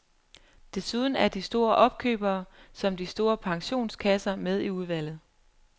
Desuden er de store opkøbere som de store pensionskasser med i udvalget.